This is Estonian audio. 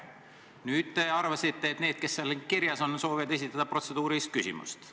Nüüd te arvasite, et need, kes seal kirjas on, soovivad esitada protseduurilist küsimust.